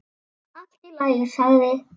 Allt í lagi sagði